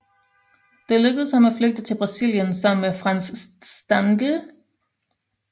Det lykkedes ham at flygte til Brasilien sammen med Franz Stangl